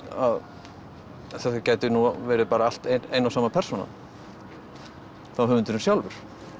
að þetta gæti nú verið allt ein og sama persónan þá höfundurinn sjálfur